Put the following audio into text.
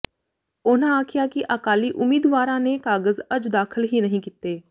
ਉਨ੍ਹਾਂ ਆਖਿਆ ਕਿ ਅਕਾਲੀ ਉਮੀਦਵਾਰਾਂ ਨੇ ਕਾਗ਼ਜ਼ ਅੱਜ ਦਾਖ਼ਲ ਹੀ ਨਹੀਂ ਕੀਤੇ